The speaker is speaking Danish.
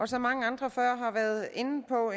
som mange andre før mig har været inde på